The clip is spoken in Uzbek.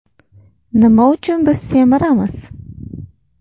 Nima uchun biz semiramiz?